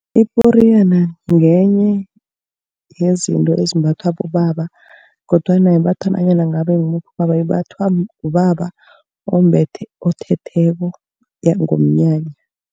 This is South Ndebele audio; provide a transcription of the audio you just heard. Iporiyana ngenye yezinto ezimbathwa bobaba kodwana ayimbathwa nanyana ngabe ngimuphi ubaba. Imbathwa ngubaba othetheko nangomnyanya.